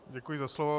Děkuji za slovo.